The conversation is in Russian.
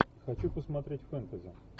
хочу посмотреть фэнтези